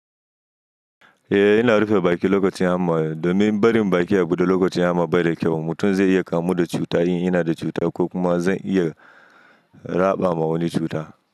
Eh, ina rufe baki lokacin hamma ai domin barin baki a buɗe lokacin hamma bai da kyau. Mutum zai iya kamu da cuta in ina da cuta ko kuma zai iya raɓa wa wani cuta.